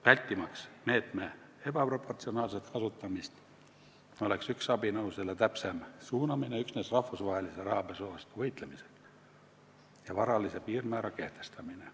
Vältimaks meetme ebaproportsionaalset kasutamist oleks üks võimalus abinõu täpsemaks suunamiseks üksnes rahvusvahelise rahapesu vastu võitlemisele varalise piirmäära kehtestamine.